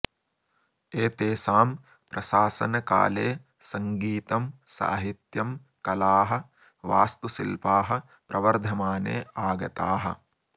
एतेषां प्रशासनकाले सङ्गीतं सहित्यं कलाः वास्तुशिल्पाः प्रवर्धमाने आगताः